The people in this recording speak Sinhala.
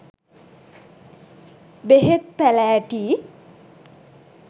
බෙහෙත් පැළෑටි